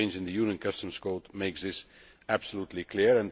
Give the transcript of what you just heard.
The change in the Union Customs Code makes this absolutely clear.